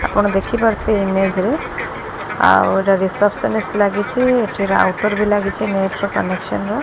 ଆପଣ ଦେଖିପାରୁଥିବେ ଇମେଜ ରେ ଆଉ ଏଟା ରିସେପନନିଷ୍ଟ ଲାଗିଛି ଏଠିର ଆଉଟଡୋର୍ ବି ଲାଗିଛି ନେଟ୍ ର କନେକ୍ସନ ର।